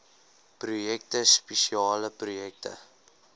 projekte spesiale projekte